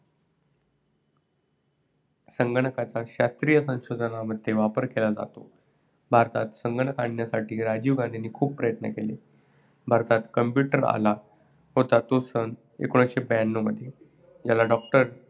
संगणकाचा शास्त्रीय संशोधनामध्ये वापर केला जातो. भ ारतात संगणक आणण्यासाठी राजीव गांधीनी खूप प्रयत्न केले. भारतात computer आला होता सन एकोणीसशे ब्यांन्नव मध्ये, ज्याला doctor